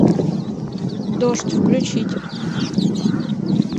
дождь включить